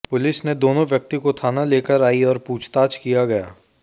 police ने दोनों व्यक्ति को थाना लेकर आई और पूछताछ किया गया